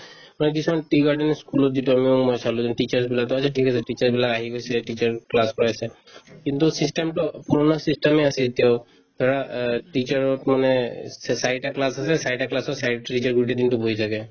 মই কিছুমান tea garden ৰ ই school ত যেতিয়া মই অলপ সময় চালো যে teacher বিলাক to আহিছে ঠিক আছে teacher বিলাক আহি গৈছে teacher class কৰাইছে কিন্তু system তো পূৰণা system য়ে আছে এতিয়াও ধৰা অ teacher ক মানে অ চে~ চাৰিটা class আছে চাৰিটা class ৰ চাৰিটা teacher গৈ দিনতো বহি থাকে